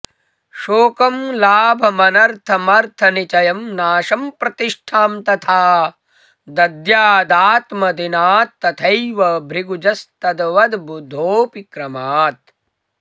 शोकं लाभमनर्थमर्थनिचयं नाशं प्रतिष्ठां तथा दद्यादात्मदिनात्तथैव भृगुजस्तद्वद्बुधोऽपि क्रमात्